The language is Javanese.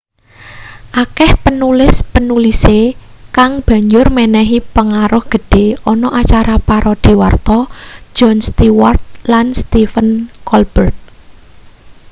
akeh penulis-penulise kang banjur menehi pengaruh gedhe ana acara parodi warta jon stewart lan stephen colbert